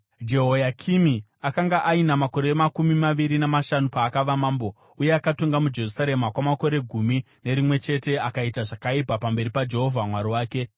Jehoyakimi akanga aina makore makumi maviri namashanu paakava mambo, uye akatonga muJerusarema kwamakore gumi nerimwe chete akaita zvakaipa pamberi paJehovha Mwari wake.